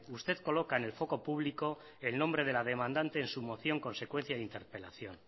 usted coloca en el foco público el nombre de la demandante en su moción consecuencia de su interpelación